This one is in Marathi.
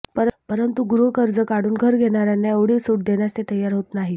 परंतु गृहकर्ज काढून घर घेणाऱ्यांना एवढी सूट देण्यास ते तयार होत नाहीत